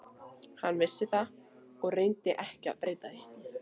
Hann vissi það og reyndi ekki að breyta því.